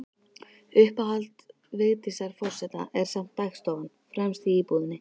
Uppáhald Vigdísar forseta er samt dagstofan, fremst í íbúðinni.